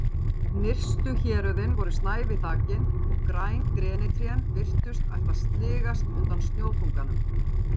Nyrstu héröðin voru snævi þakin og græn grenitrén virtust ætla að sligast undan snjóþunganum.